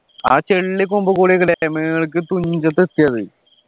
ആ ചെള്ള് കൊമ്പുകൂടെയല്ലേ മേള്ക്കെ തുഞ്ചത്ത് എത്തിയത്